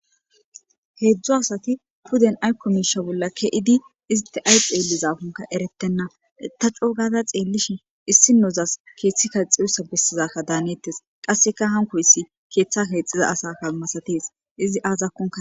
Hedzdzu asati pudden ayko miishsha bolla ke'idi isti pudden ayi xellizakonne erettenna ta c'oo gadda xellishin issinazas keeththe keexidanikka besiza hanetes qasekka haanikoyssi keeththa kexiza asadanikka masates izi azikko